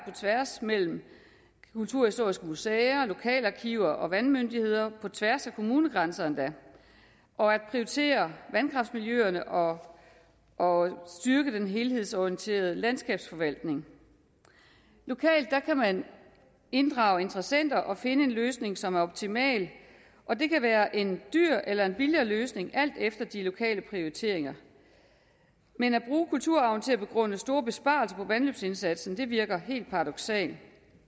tværs mellem kulturhistoriske museer lokale arkiver og vandmyndigheder på tværs af kommunegrænser og prioritere vandkraftmiljøerne og og styrke den helhedsorienterede landskabsforvaltning lokalt kan man inddrage interessenter og finde en løsning som er optimal og det kan være en dyr eller en billig løsning alt efter de lokale prioriteringer men at bruge kulturarven til at begrunde store besparelser på vandløbsindsatsen virker helt paradoksalt